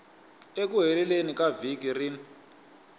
eku heleni ka vhiki rin